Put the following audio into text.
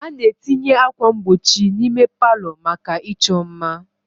A na-etinye ákwà mgbochi n'ime palọ maka ịchọ mma.